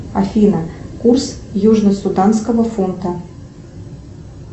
афина курс южносуданского фунта